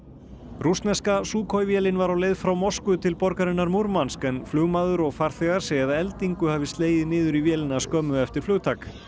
rússneska Sukhoi vélin var á leið frá Moskvu til borgarinnar Murmansk en flugmaður og farþegar segja að eldingu hafi slegið niður í vélina skömmu eftir flugtak